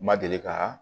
Ma deli ka